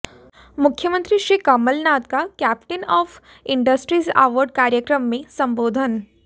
मुख्यमंत्री श्री कमल नाथ का captain of industries award कार्यक्रम में संबोधन